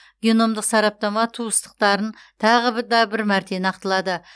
геномдық сараптама туыстықтарын тағы да бір мәрте нақтылады